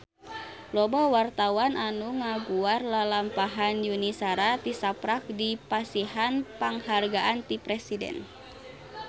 Loba wartawan anu ngaguar lalampahan Yuni Shara tisaprak dipasihan panghargaan ti Presiden